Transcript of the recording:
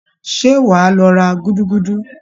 Ṣé wàá lọ ra gúdúgúdú?